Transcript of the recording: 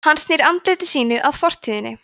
hann snýr andliti sínu að fortíðinni